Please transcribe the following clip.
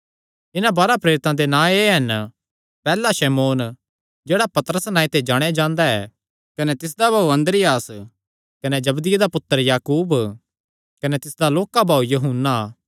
इन्हां बाराह प्रेरितां दे नां एह़ हन पैहल्ला शमौन जेह्ड़ा पतरस नांऐ ते जाणेयां जांदा ऐ कने तिसदा भाऊ अन्द्रियास कने जबदिये दा पुत्तर याकूब कने तिसदा लोक्का भाऊ यूहन्ना